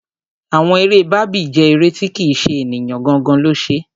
Àwọn eré Barbie jẹ́ eré tí kì ṣe ènìyàn gangan lo ṣe.